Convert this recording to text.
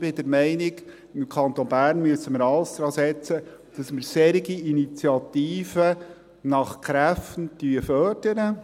Ich bin der Meinung, dass wir im Kanton Bern alles daransetzen müssen, dass wir solche Initiativen nach Kräften fördern.